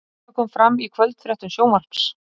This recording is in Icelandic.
Þetta kom fram í kvöldfréttum Sjónvarps